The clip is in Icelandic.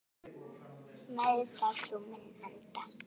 Meðtak þú minn anda.